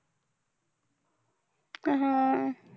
हा.